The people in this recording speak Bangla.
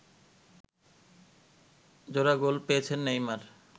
জোড়া গোল পেয়েছেন নেইমার